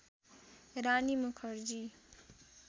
Rani Mukherjee